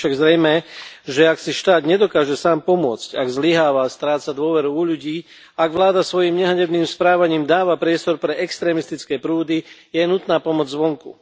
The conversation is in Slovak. Je však zrejmé, že ak si štát nedokáže sám pomôcť, ak zlyháva a stráca dôveru u ľudí, ak vláda svojím nehanebným správaním dáva priestor pre extrémistické prúdy, je nutná pomoc zvonku.